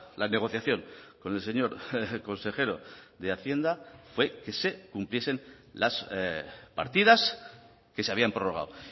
la negociación con el señor consejero de hacienda fue que se cumpliesen las partidas que se habían prorrogado